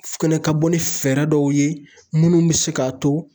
Fɛnɛ ka bɔ ni fɛɛrɛ dɔw ye munnu bɛ se k'a to